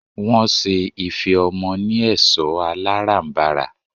Wọ́n ṣe ife ọmọ ni ẹ̀ṣọ́ alárànbarà.